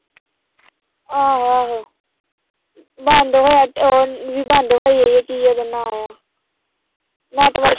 ਆਹੋ ਆਹੋ ਬੰਦ ਹੋਇਆ ਉਹ ਵੀ ਬੰਦ ਹੋਈ ਹੋਈ ਆ ਕੀ ਉਹਦਾ ਨਾਂ ਆਂ network